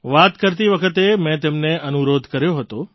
વાત કરતી વખતે મેં તેમને અનુરોધ કર્યો હતો